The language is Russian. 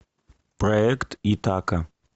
проект итака